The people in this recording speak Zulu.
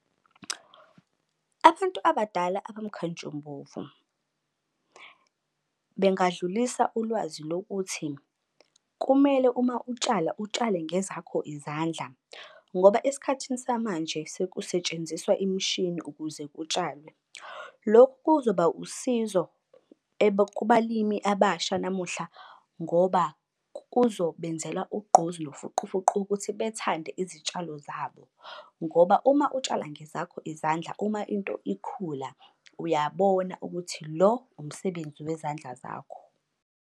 Abantu abadala abamkantshubomvu bengadlulisa ulwazi lokuthi, kumele uma utshala utshale ngezakho izandla. Ngoba esikhathini samanje sekusetshenziswa imishini ukuze kutshalwe. Lokhu kuzoba usizo kubalimi abasha namuhla ngoba kuzobenzela ugqozi nofuqufuqu ukuthi bethande izitshalo zabo. Ngoba uma utshala ngezakho izandla uma into ikhula uyabona ukuthi lo umsebenzi wezandla zakho.